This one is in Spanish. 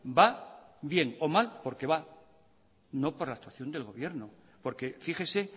va bien o mal porque va no por la actuación del gobierno porque fíjese